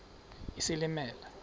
isilimela